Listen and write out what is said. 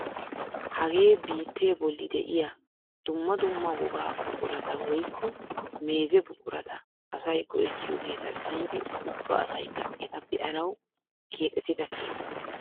Hagee bittee bolli de'iyaa dumma dumma wogaa buqurata woykko meeze buqurata asay go"ettiyoogeta biidi ubba asaykka eta be'anawu keexettidaa keettaa.